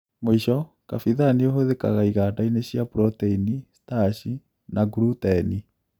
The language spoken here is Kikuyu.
Mũisho kabithaa nĩhũthikaga igandainĩ cia proteini, starch na gluteni